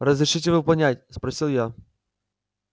разрешите выполнять спросил я